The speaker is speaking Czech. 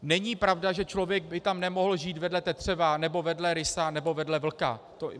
Není pravda, že člověk by tam nemohl žít vedle tetřeva nebo vedle rysa nebo vedle vlka.